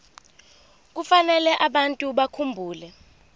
kufanele abantu bakhumbule